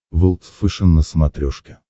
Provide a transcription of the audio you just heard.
волд фэшен на смотрешке